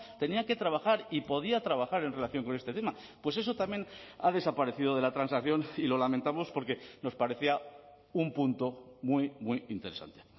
tenía que trabajar y podía trabajar en relación con este tema pues eso también ha desaparecido de la transacción y lo lamentamos porque nos parecía un punto muy muy interesante